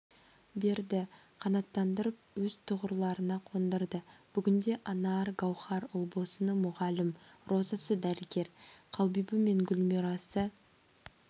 берді қанаттандырып өз тұғырларына қондырды бүгінде анар гаухар ұлбосыны мұғалім розасы дәрігер қалбибі мен гүлмирасы